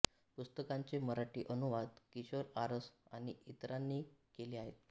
पुस्तकांचे मराठी अनुवाद किशोर आरस आणि इतरांनी केले आहेत